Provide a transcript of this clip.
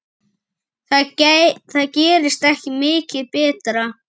Það gerist ekki mikið betra.